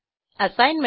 assignment